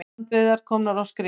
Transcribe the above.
Með lúa skal líf fæða.